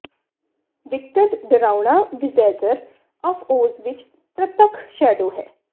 ਵਿਕਟਡ ਡਰਾਉਣਾ wizard of Oz ਵਿੱਚ ਪ੍ਰਤੱਖ ਸ਼ੈਡੋ ਹੈ